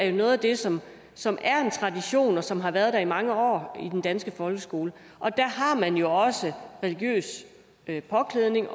er noget af det som som er en tradition og som har været der i mange år i den danske folkeskole og der har man jo også religiøs påklædning